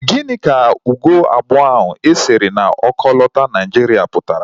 Gịnị ka ugo abụọ ahụ e sere na okolota Naijiria pụtara?